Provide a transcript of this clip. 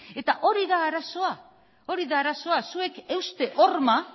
eta hori da arazoa hori da arazoa zuek euste horma